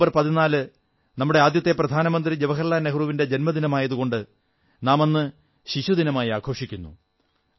November 14 നമ്മുടെ ആദ്യത്തെ പ്രധാനമന്ത്രി ജവാഹർലാൽ നെഹ്റുവിന്റെ ജന്മദിനമായതുകൊണ്ട് നാം അന്ന് ശിശുദിനമായി ആഘോഷിക്കുന്നു